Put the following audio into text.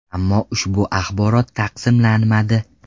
Ammo ushbu axborot tasdiqlanmadi.